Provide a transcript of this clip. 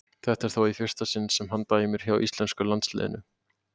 Þetta er þó í fyrsta sinn sem hann dæmir hjá íslenska landsliðinu.